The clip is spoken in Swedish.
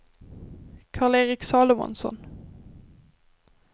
Karl-Erik Salomonsson